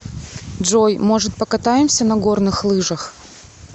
джой может покатаемся на горных лыжах